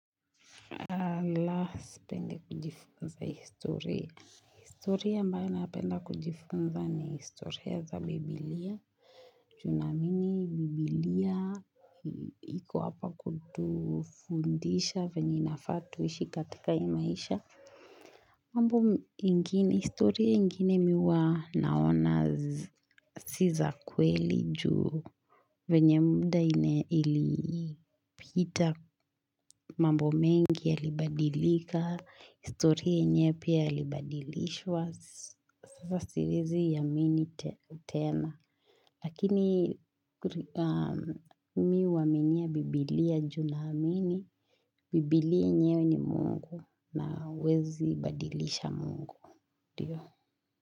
La sipendi kujifunza historia historia ambayo napenda kujifunza ni historia za biblia Tunaamini biblia iko hapa kutufundisha venye inafaa tuishi katika hii maisha mambo ingine historia ingine mi huwa naona si za kweli juu venye muda ilipita mambo mengi yalibadilika historia yenye pia ilibadilishwa sasa siezi yamini tena lakini mi huwaminia biblia ju na amini biblia nyenyewe ni mungu na huwezi badilisha mungu ndio.